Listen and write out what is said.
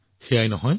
সেয়াই নহয়